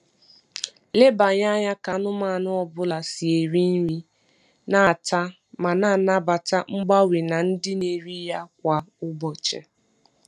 Leba anya ka anụmanụ ọ bụla si eri nri, na-ata, ma na-anabata mgbanwe na ndịna nri ya kwa ụbọchị.